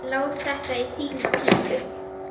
Lát þetta í þína pípu.